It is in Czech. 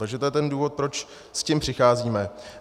Takže to je ten důvod, proč s tím přicházíme.